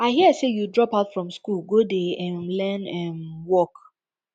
i hear say you drop out from school go dey um learn um work